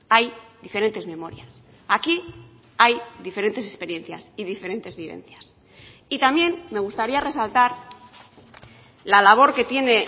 hay diferentes memorias aquí hay diferentes experiencias y diferentes vivencias y también me gustaría resaltar la labor que tiene